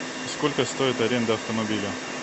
сколько стоит аренда автомобиля